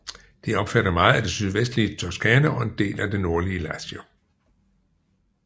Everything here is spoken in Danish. Det omfatter meget af det sydvestlige Toscana og en del af det nordlige Lazio